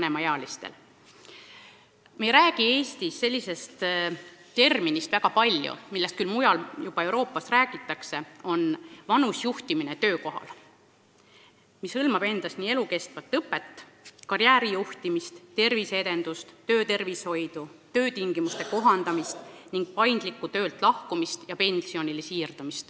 Eestis on üsna vähe kasutatud üht terminit, millest mujal Euroopas juba räägitakse: see on "vanusejuhtimine töökohal", mis hõlmab endas elukestvat õpet, karjääri kujundamist, terviseedendust, töötervishoidu, töötingimuste kohandamist ning paindlikku töölt lahkumist ja pensionile siirdumist.